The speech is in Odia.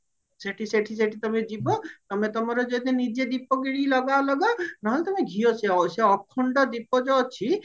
ସେଠି ସେଠି ସେଠି ତମେ ଯିବ ତମେ ତମର ଯଦି ନିଜେ ଦୀପ କିଣିକି ଲଗାଅ ଲଗାଅ ନେହେଲେ ତମେ ଘିଅ ସେ ସେ ଅଖଣ୍ଡ ଦୀପ ଯୋଉ ଅଛି